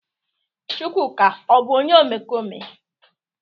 Chukwuka o bu onye omekome?